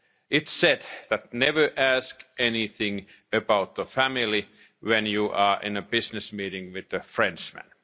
It said that you should never ask anything about family when you are in a business meeting with a Frenchman.